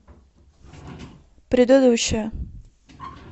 предыдущая